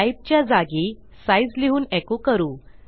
type च्या जागी size लिहून एको करू